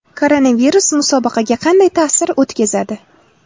Koronavirus musobaqaga qanday ta’sir o‘tkazadi?